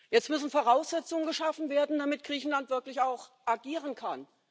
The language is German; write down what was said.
Jetzt müssen Voraussetzungen geschaffen werden, damit Griechenland wirklich auch agieren kann.